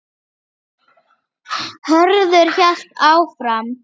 Hörður hélt áfram